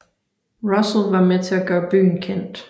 Russel var med at til gøre byen kendt